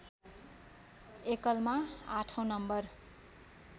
एकलमा आठौँ नम्बर